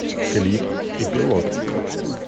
клип эпилог